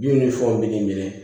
Du ni fɛnw bɛ minɛ